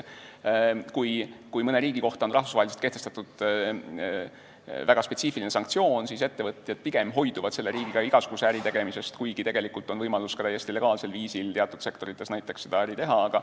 Kui mõne riigi vastu on rahvusvaheliselt kehtestatud väga spetsiifiline sanktsioon, siis ettevõtjad pigem hoiduvad selle riigiga igasuguse äri tegemisest, kuigi tegelikult on võimalus ka täiesti legaalsel viisil teatud sektorites äri ajada.